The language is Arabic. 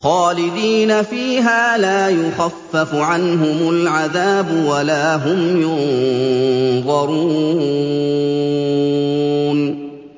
خَالِدِينَ فِيهَا ۖ لَا يُخَفَّفُ عَنْهُمُ الْعَذَابُ وَلَا هُمْ يُنظَرُونَ